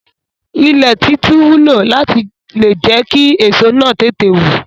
Ilẹ̀ títú wúlò láti le jẹ́ kí èso náà tètè wù.